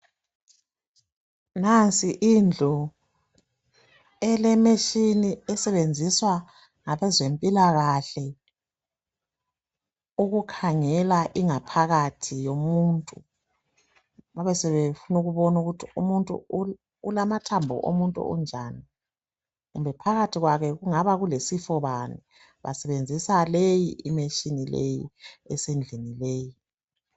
Nansi indlu elemitshina esetshenziswa ngabe zempilakahle ukukhangela ingaphakathi yomuntu babesebefuna ukubona ukuthi umuntu ulamathambo omuntu unjani kumbe phakathi kwakhe kungaba kulesifo bani basebenzisa leyi i machine esendlini leyi.